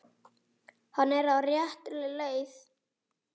Hann er á réttri leið.